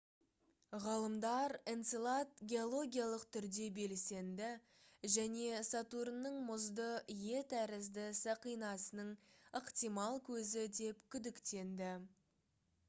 ғалымдар энцелад геологиялық түрде белсенді және сатурнның мұзды е тәрізді сақинасының ықтимал көзі деп күдіктенді